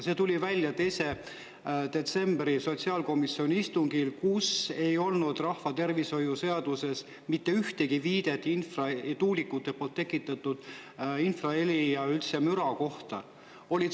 See tuli välja 2. detsembri sotsiaalkomisjoni istungil, sest rahvatervishoiu seaduses ei olnud mitte ühtegi viidet tuulikute tekitatud infraheli ja üldse müra kohta.